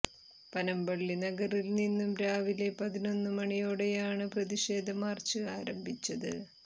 പനംപള്ളി നഗറിൽ നിന്നും രാവിലെ പതിനൊന്നു മണിയോടെയാണ് പ്രതിഷേധ മാർച്ച് ആരംഭിച്ചത്